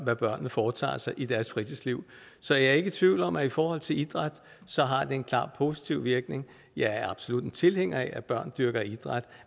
hvad børnene foretager sig i deres fritidsliv så jeg er ikke i tvivl om at det i forhold til idræt har en klart positiv virkning jeg er absolut tilhænger af at børn dyrker idræt